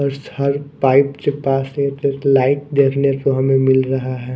उस हर पाइप के पास एक एक लाइट देखने को हमें मिल रहा है।